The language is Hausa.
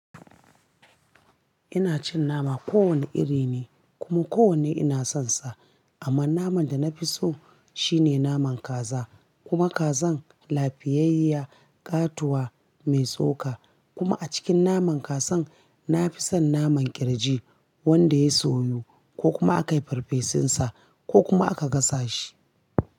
Ina cin nama kowane iri ne kuma kowanne ina sonsa. Amma naman da na fi so shine naman kaza. Kuma kazan lafiyayya, ƙatuwa, mai tsoka. Kuma a cikin naman kazan nafi son naman ƙirji wanda ya soyu ko kuma aka yi farfesunsa ko kuma aka gasa shi.